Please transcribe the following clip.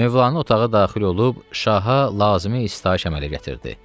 Mövlanə otağa daxil olub şaha lazımi istayiş əmələ gətirdi.